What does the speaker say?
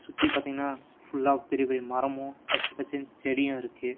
சுத்தி பாத்தீங்கன்னா ஃபுல்லா பெரிய பெரிய மரமும் பச்ச பச்சேனு செடியும் இருக்கு.